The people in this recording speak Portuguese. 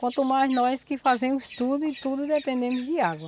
Quanto mais nós que fazemos tudo e tudo dependemos de água.